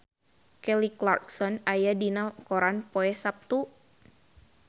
Kelly Clarkson aya dina koran poe Saptu